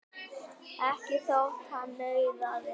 Ekki þótt hann nauðaði.